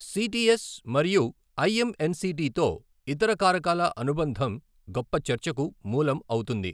CTS మరియు ఐఎంఎన్సిటీతో ఇతర కారకాల అనుబంధం గొప్ప చర్చకు మూలం అవుతుంది.